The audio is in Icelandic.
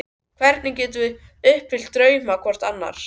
Hvernig getum við uppfyllt drauma hvort annars?